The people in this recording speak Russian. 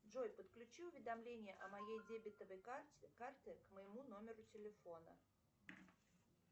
джой подключи уведомления о моей дебетовой карте карты к моему номеру телефона